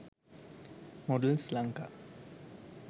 models lanka